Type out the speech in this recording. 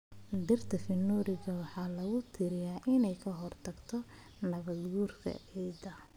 Dhirta Fenugreek waxaa lagu tiriyaa inay ka hortagto nabaad-guurka ciidda.